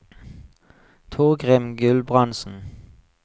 Torgrim Gulbrandsen